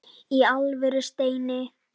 Í alvöru, Steini.